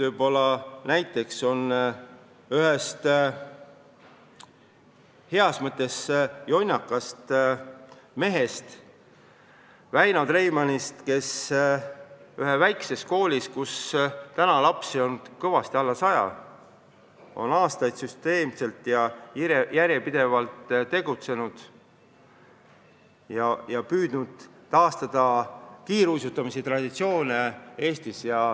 Veel võib näiteks tuua ühe heas mõttes jonnaka mehe Väino Treimani, kes ühes väikses koolis, kus praegu on lapsi kõvasti alla saja, on aastaid süsteemselt ja järjepidevalt tegutsenud, püüdes taastada kiiruisutamise traditsioone Eestis.